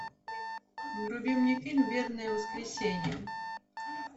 вруби мне фильм вербное воскресенье